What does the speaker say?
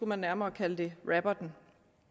man nærmere kalde det rapper den